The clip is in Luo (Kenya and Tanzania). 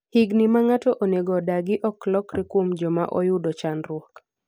higni ma ng'ato onego odagi ok lokre kuom joma oyudo chandruok